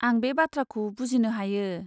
आं बे बाथ्राखौ बुजिनो हायो।